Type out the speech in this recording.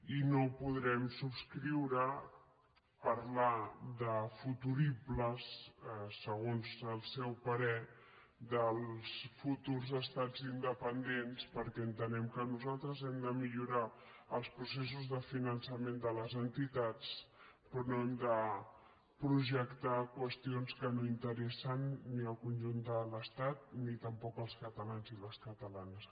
i no podrem subscriure parlar de futuribles segons el seu parer dels futurs estats independents perquè en·tenem que nosaltres hem de millorar els processos de finançament de les entitats però no hem de projectar qüestions que no interessen ni al conjunt de l’estat ni tampoc als catalans i les catalanes